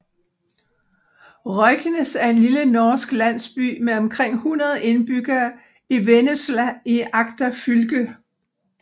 Røyknes er en lille norsk landsby med omkring 100 indbyggere i Vennesla i Agder fylke